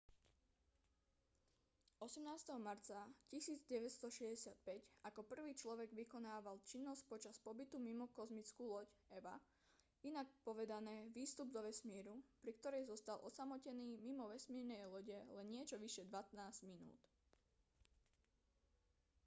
18. marca 1965 ako prvý človek vykonával činnosť počas pobytu mimo kozmickú loď eva inak povedané výstup do vesmíru pri ktorej zostal osamotený mimo vesmírnej lode len niečo vyše dvanásť minút